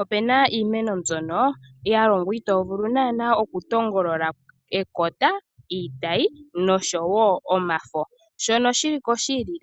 Opena iimeno mbyono yalongwa naana itovulu oku tongolola ekota ,iitayi Noshowo omafo. Shono shiliko shi ili